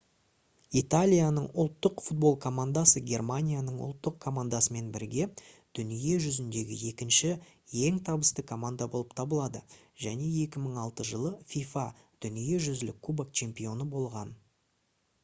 италияның ұлттық футбол командасы германияның ұлттық командасымен бірге дүние жүзіндегі екінші ең табысты команда болып табылады және 2006 жылы fifa дүниежүзілік кубок чемпионы болған